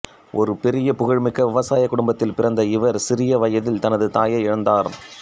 ஒரு பெரிய புகழ்மிக்க விவசாய குடும்பத்தில் பிறந்த இவர் சிறிய வயதில் தனது தாயை இழந்தார்